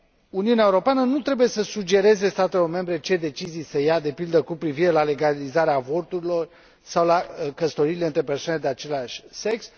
Uniunea Europeană nu trebuie să sugereze statelor membre ce decizii să ia, de pildă, cu privire la legalizarea avorturilor sau la căsătoriile între persoane de același sex.